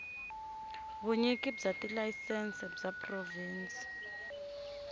vunyiki bya tilayisense bya provhinsi